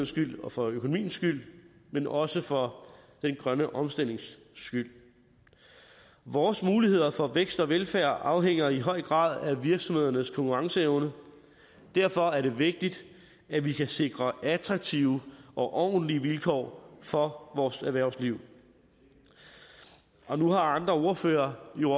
skyld og for økonomiens skyld men også for den grønne omstillings skyld vores muligheder for vækst og velfærd afhænger i høj grad af virksomhedernes konkurrenceevne derfor er det vigtigt at vi kan sikre attraktive og ordentlige vilkår for vores erhvervsliv nu har andre ordførere jo